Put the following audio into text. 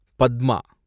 Padma